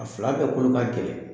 A fila bɛɛ kɔni ka gɛlɛ!